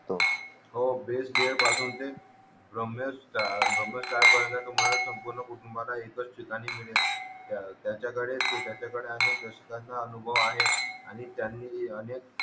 हो बेस डिअर पासून ते भ्राम्या भ्राम्या स्टार पर्यंत तुम्हाला संपूर्ण कुटुंबाला एकाच ठिकाणी म्हणजे त्यानं त्यांचा कडे त्यांचा कडे अनेक दाधकांचा अनुभव आहे आणि त्यांनी अनेक